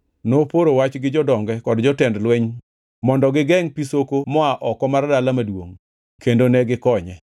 noporo wach gi jodonge kod jotend lweny mondo gigengʼ pi soko moa oko mar dala maduongʼ kendo ne gikonye.